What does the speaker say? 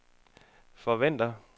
forventer